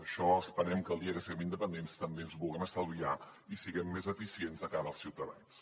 això esperem que el dia que siguem independents també ens ho puguem estalviar i siguem més eficients de cara als ciutadans